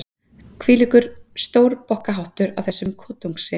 Hvílíkur stórbokkaháttur af þessum kotungssyni!